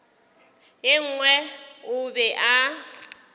ye nngwe o be a